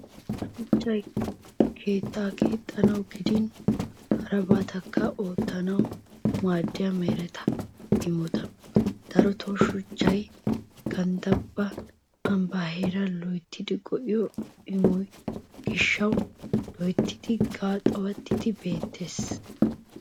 Shuchchay keettaa keexxanawu gidin harabatakka oottanawu maadiyaa mereta imota. Daroton Shuchchay ganddaappe ambba heeran loyttidi go"aa immiyoo gishshwu loyttidi qaxuwatidi beettees.